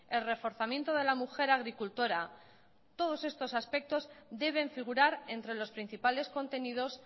el reforzamiento de la mujer agricultora todos estos aspectos deben figurar entre los principales contenidos